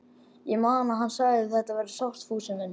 Ég man að hann sagði: Þetta verður sárt, Fúsi minn.